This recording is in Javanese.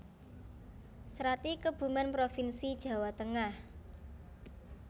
Srati Kebumen provinsi Jawa Tengah